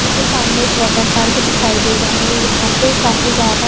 मुझे सामने water park दिखाई दे रहा है यहां पे काफी ज्यादा--